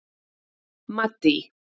Maddý